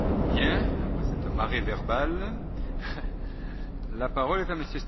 Bien, après cette marée verbale, la parole est à M.